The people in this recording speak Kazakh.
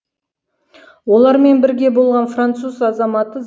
олармен бірге болған француз азаматы